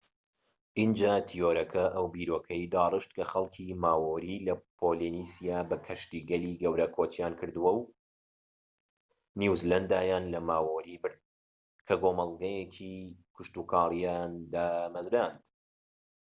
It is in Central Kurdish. ئینجا تیۆرەکە ئەو بیرۆکەیەی داڕشت کە خەڵکی ماوۆری لە پۆلینێسیا بە کەشتیگەلی گەورە کۆچیان کردووە و نیوزیلاندایان لە ماوۆری برد کە کۆمەڵگەیەکی کشتوکاڵییان دامەزراند